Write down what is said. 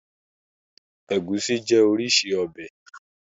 Ẹgùsí jẹ́ orísìí ọbẹ̀.